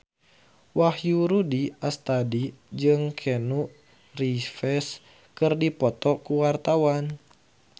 Wahyu Rudi Astadi jeung Keanu Reeves keur dipoto ku wartawan